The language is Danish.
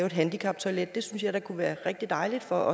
et handicaptoilet det synes jeg da kunne være rigtig dejligt for